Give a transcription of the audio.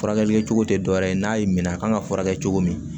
Furakɛli kɛcogo tɛ dɔwɛrɛ ye n'a y'i minɛ a kan ka furakɛ cogo min